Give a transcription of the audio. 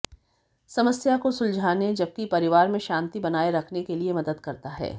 समस्या को सुलझाने जबकि परिवार में शांति बनाए रखने के लिए मदद करता है